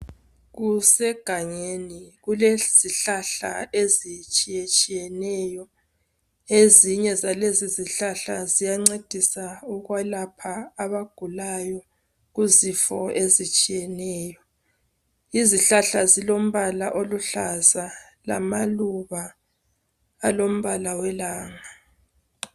Kusegangeni kulezihlahla ezitshiyetshiyeneyo, ezinye zalezi izihlahla ziyacedisa ukuwelapha abagulayo kuzifo ezitshineyo. Izihlahla zilombala oluhlaza, lamaluba alembala welanga